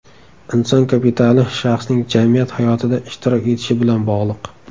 Inson kapitali shaxsning jamiyat hayotida ishtirok etishi bilan bog‘liq.